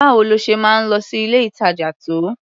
Báwo lo ṣe máa ń lọ sí ilé-ìtàjà tó?